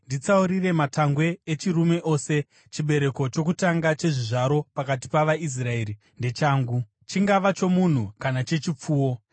“Nditsaurire matangwe echirume ose. Chibereko chokutanga chechizvaro pakati pavaIsraeri ndechangu, chingava chomunhu kana chechipfuwo.”